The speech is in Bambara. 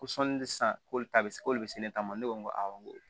Ko sɔɔni sisan k'olu ta bɛ se k'olu se ne ta ma ne ko n ko awɔ n ko